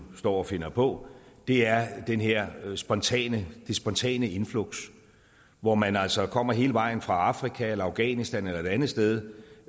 står og finder på er er det her spontane spontane influx hvor man altså kommer hele vejen fra afrika afghanistan eller et andet sted